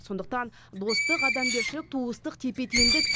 сонықтан достық адамгершілік туыстық тепе теңдік